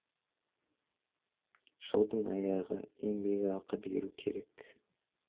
жылдың аяғы еңбекақы беру керек